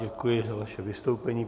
Děkuji za vaše vystoupení.